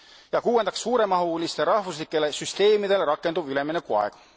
Ja kuuendaks suuremahulistele rahvuslikele süsteemidele rakenduv üleminekuaeg.